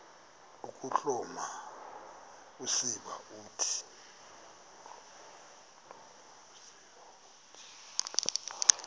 ukuhloma usiba uthi